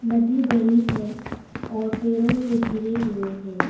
नदी बड़ी है और पेड़ों से घिरे हुए हैं।